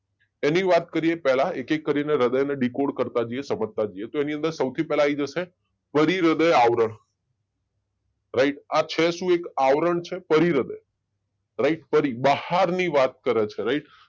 એની વાત કરીએ પેહલા એક એકે કરીને હૃદયને ડીકોડ કરતા જઈએ સમજતા જઈએ તો એની અનાદર સૌથી પેહલા આઈ જશે પરીહૃદય આવર રાઈટ આ છે શું એક આવરણ છે પરીહૃદય રાઈટ પરી બહારની વાત કરે છે